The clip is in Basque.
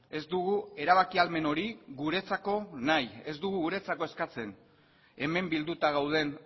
ez dugu erabaki ahalmen hori guretzako nahi ez dugu guretzako eskatzen hemen bilduta gauden